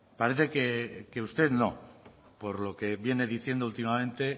parece que usted no por lo que viene diciendo últimamente